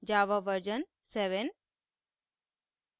* java version 7